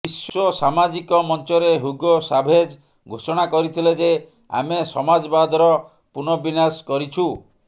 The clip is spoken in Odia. ବିଶ୍ୱ ସାମାଜିକ ମଞ୍ଚରେ ହୁଗୋ ସାଭେଜ ଘୋଷଣା କରିଥିଲେ ଯେ ଆମେ ସମାଜବାଦର ପୁନଃବିନ୍ୟାସ କରିଛୁ